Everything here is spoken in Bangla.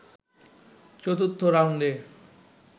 চতুর্থ রাউন্ডে